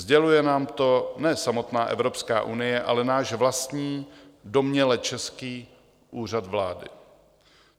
Sděluje nám to ne samotná Evropská unie, ale náš vlastní, domněle český Úřad vlády.